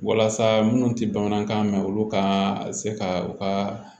Walasa minnu tɛ bamanankan mɛn olu ka se ka u ka